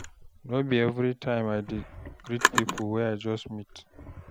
No be everytime I dey greet pipo wey I just meet.